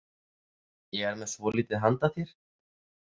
Ég er með svolítið handa þér